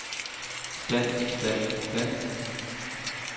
stand stand stand